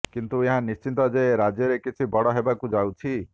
କିନ୍ତୁ ଏହା ନିଶ୍ଚିତ ଯେ ରାଜ୍ୟରେ କିଛି ବଡ଼ ହେବାକୁ ଯାଉଛି